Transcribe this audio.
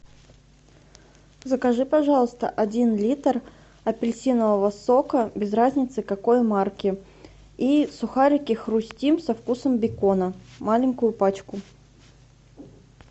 закажи пожалуйста один литр апельсинового сока без разницы какой марки и сухарики хрустим со вкусом бекона маленькую пачку